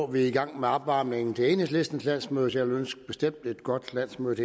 vi er i gang med opvarmningen til enhedslistens landsmøde så jeg vil bestemt ønske et godt landsmøde